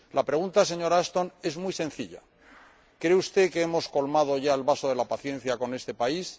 La pregunta, señora Ashton, es muy sencilla ¿cree usted que hemos colmado ya el vaso de la paciencia con este país?